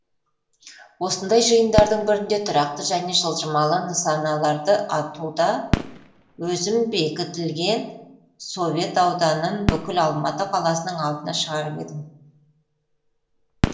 осындай жиындардың бірінде тұрақты және жылжымалы нысаналарды атуда өзім бекітілген совет ауданын бүкіл алматы қаласының алдына шығарып едім